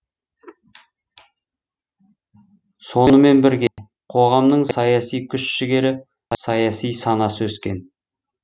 сонымен бірге қоғамның саяси күш жігері саяси санасы өскен